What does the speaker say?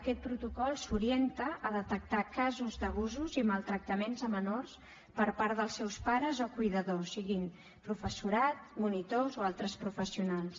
aquest protocol s’orienta a detectar casos d’abusos i maltractaments a menors per part dels seus pares o cuidadors siguin professorat monitors o altres professionals